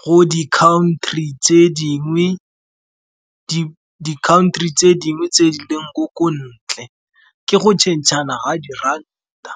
go di country tse dingwe tse di leng ko ntle, ke go tšhentšhana ga di ranta.